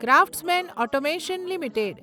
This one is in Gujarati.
craftsman automation limited